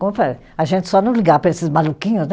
Como eu falei, a gente só não ligar para esses maluquinhos, né?